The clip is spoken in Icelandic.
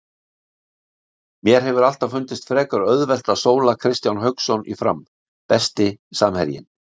Mér hefur alltaf fundist frekar auðvelt að sóla Kristján Hauksson í Fram Besti samherjinn?